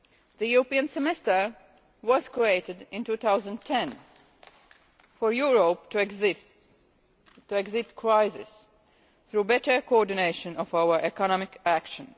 The European Semester was created in 2010 for Europe to exit the crisis through better coordination of our economic action.